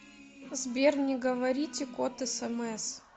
сбер не говорите код смс